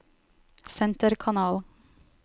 senterkanal